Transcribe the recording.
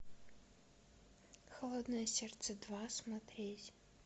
холодное сердце два смотреть